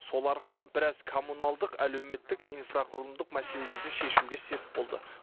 сол арқылы бірәз коммуналдық әлеуметтік инфрақұрылымдық мәселелерді шешуге сеп болды